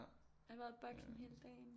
Jeg har været i boksen hele dagen